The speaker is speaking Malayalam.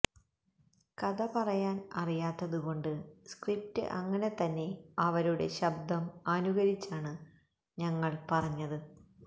കഥ പറയാന് അറിയാത്തതുകൊണ്ട് സ്ക്രിപ്റ്റ് അങ്ങനെതന്നെ അവരുടെ ശബ്ദം അനുകരിച്ചാണ് ഞങ്ങള് പറഞ്ഞത്